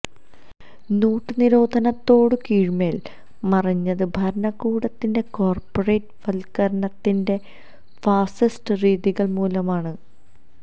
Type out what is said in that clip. not നിരോധനത്തോടെ കീഴ്മേൽ മറിഞ്ഞത് ഭരണകൂടത്തിന്റെ കോർപ്പറേറ്റ് വത്കരണത്തിന്റെ ഫാസിസ്റ്റ് രീതികൾ മൂലമാണ്